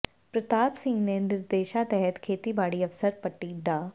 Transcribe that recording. ਪ੍ਰਤਾਪ ਸਿੰਘ ਦੇ ਨਿਰਦੇਸ਼ਾਂ ਤਹਿਤ ਖੇਤੀਬਾੜੀ ਅਫਸਰ ਪੱਟੀ ਡਾ